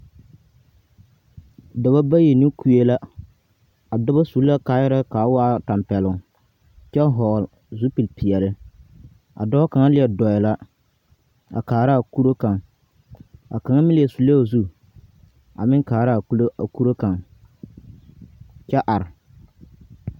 Dͻbͻ bayi ne kue la. A dͻbͻ sue kaayԑrԑԑ ka a waa tampԑloŋ kyԑ vͻgele zupili peԑle. A dͻͻ kaŋa leԑ dͻͻ la a kaara a kuro kaŋ, a kaŋa meŋ leԑ sullee o zu a meŋ kaara a kulo kuro kaŋ kyԑ are.